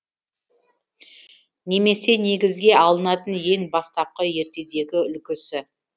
немесе негізге алынатын ең бастапқы ертедегі үлгісі